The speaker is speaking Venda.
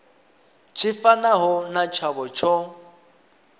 tshi fanaho na tshavho tsho